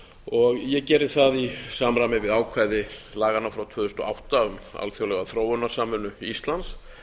og ég geri það í samræmi við ákvæði laganna frá tvö þúsund og átta um alþjóðlega þróunarsamvinnu íslands